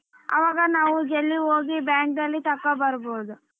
ಅವಾಗ ನಾವು जल्दी ಹೋಗಿ bank ಅಲ್ಲಿ ತಕ್ಕ ಬರ್ಬೋದು.